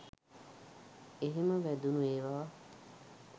එහෙම වැදුණු ඒවා